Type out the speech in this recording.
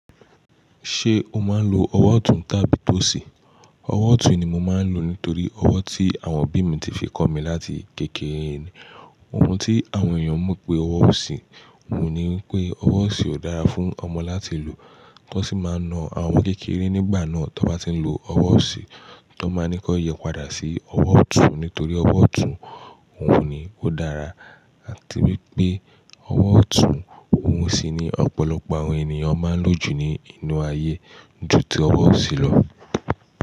Ṣé o máa ń lo ọwọ́ ọ̀tún tàbí tó sì? Ọwọ́ ọ̀tún ni mo máa ń lò nítorí ọwọ́ tí àwọn òbí mi ti fi kọ́ mi láti kékeré ni, ohun tí àwọn èèyàn mọ̀ pé ọwọ́ òsì. Ohun ní wípé ọwọ́ òsì ò dára fún ọmọ láti lò, wọn sì máa na àwọn ọmọ kékeré nígbà náà t'on bá ti ń lo ọwọ́ òsì, tí wọ́n bá ní kí wọ́n yí padà sí ọwọ́ ọ̀tún nítorí ọwọ́ ọ̀tún ohun ni ó dára àti wípé ọwọ́ ọ̀tún òhun sì ni ọ̀pọ̀lọpọ̀ àwọn ènìyàn máa ń lò jù ní inú ayé ju tó ọwọ́ òsì lọ.